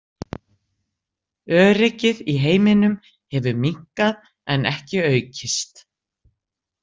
Öryggið í heiminum hefur minnkað en ekki aukist.